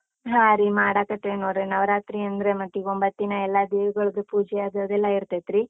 ಹಾ ರೀ, ಮಾಡಕತೀವಿ ನೋಡ್ರಿ, ನವರಾತ್ರಿ ಅಂದ್ರೆ ಮತ್ತೀಗ್ ಒಂಬತ್ತಿನ ಎಲ್ಲ ದೇವಿಗಳ್ಗೂ ಪೂಜೆ ಅದ್ ಇದೆಲ್ಲ ಇರ್ತೈತ್ರೀ.